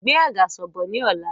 Gbé àgàsọ̀ bọ̀ ni ọ̀la!